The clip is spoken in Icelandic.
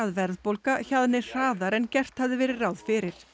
verðbólga hjaðni hraðar en gert hafði verið ráð fyrir